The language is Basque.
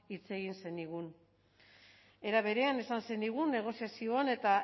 hitz egin zenigun era berean esan zenigun negoziazioan eta